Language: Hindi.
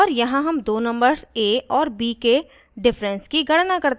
और यहाँ हम दो numbers a और b के difference की गणना करते हैं